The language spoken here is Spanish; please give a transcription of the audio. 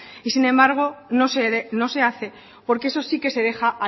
y sin embargo no se hace porque eso sí que se deja